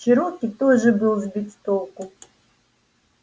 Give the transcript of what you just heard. чероки тоже был сбит с толку